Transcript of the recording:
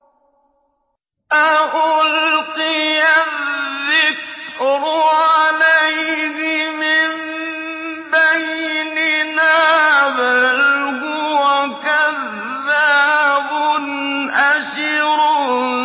أَأُلْقِيَ الذِّكْرُ عَلَيْهِ مِن بَيْنِنَا بَلْ هُوَ كَذَّابٌ أَشِرٌ